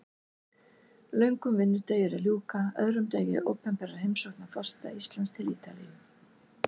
Löngum vinnudegi er að ljúka, öðrum degi opinberrar heimsóknar forseta Íslands til Ítalíu.